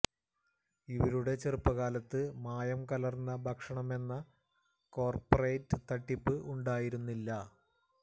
ഇവരുടെ ചെറുപ്പ കാലത്ത് മായം കലര്ന്ന ഭക്ഷണമെന്ന കോര്പറേറ്റ് തട്ടിപ്പ് ഉണ്ടായിരുന്നില്ല